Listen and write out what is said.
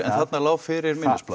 þarna lá fyrir minnisblað